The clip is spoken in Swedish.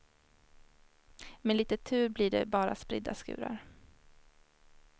Med litet tur blir det bara spridda skurar.